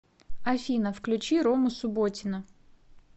афина включи рому субботина